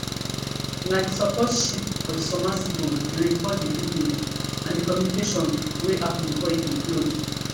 na di support ship for di submersible bin record di video and di communication wey happun before e implode